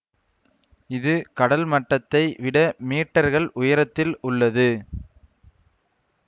இது கடல்மட்டத்தைவிட மீட்டர்கள் உயரத்தில் உள்ளது